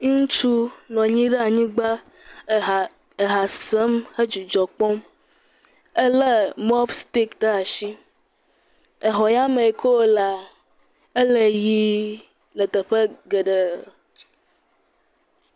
Ŋutsu ya anyigba tutum, vɔa eɖa asi, nɔ anyi le anyigba le ha sem eye dzodoƒea lé atia ɖe asi, ye dzodoƒea le ʋi aɖe.